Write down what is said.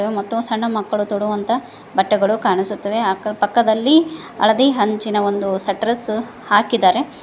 ಮತ್ತು ಸಣ್ಣ ಮಕ್ಕಳು ತೊಡುವಂತ ಬಟ್ಟೆಗಳು ಕಾಣಿಸುತ್ತವೆ ಹಾಗು ಪಕ್ಕದಲ್ಲಿ ಹಳದಿ ಹಂಚಿನ ಒಂದು ಶೆಟ್ಟರ್ಸ್ ಹಾಕಿದ್ದಾರೆ.